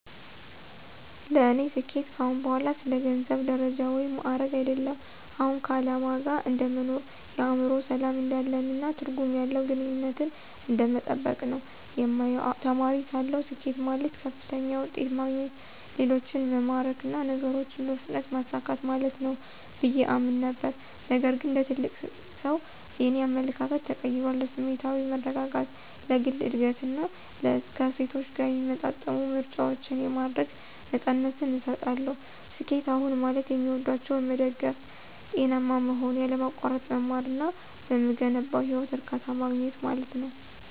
ለእኔ ስኬት ከአሁን በኋላ ስለ ገንዘብ፣ ደረጃ ወይም ማዕረግ አይደለም። አሁን ከዓላማ ጋር እንደ መኖር፣ የአእምሮ ሰላም እንዳለን፣ እና ትርጉም ያለው ግንኙነትን እንደመጠበቅ ነው የማየው። ተማሪ ሳለሁ፣ ስኬት ማለት ከፍተኛ ውጤት ማግኘት፣ ሌሎችን መማረክ እና ነገሮችን በፍጥነት ማሳካት ማለት ነው ብዬ አምን ነበር። ነገር ግን እንደ ትልቅ ሰው, የእኔ አመለካከት ተቀይሯል. ለስሜታዊ መረጋጋት፣ ለግል እድገት እና ከእሴቶቼ ጋር የሚጣጣሙ ምርጫዎችን የማድረግ ነፃነትን እሰጣለሁ። ስኬት አሁን ማለት የሚወዷቸውን መደገፍ፣ ጤናማ መሆን፣ ያለማቋረጥ መማር እና በምገነባው ህይወት እርካታ ማግኘት ማለት ነው።